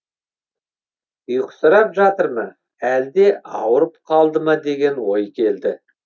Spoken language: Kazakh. ұйқысырап жатыр ма әлде ауырып қалды ма деген ой келді